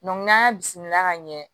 n'an y'a bisimila ka ɲɛ